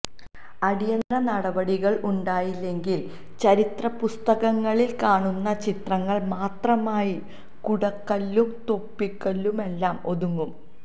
അടിയന്തിര നടപടികളുണ്ടായില്ലെങ്കില് ചരിത്ര പുസ്തകങ്ങളില് കാണുന്ന ചിത്രങ്ങള് മാത്രമായി കുടക്കല്ലും തൊപ്പിക്കല്ലുമെല്ലാം ഒതുങ്ങും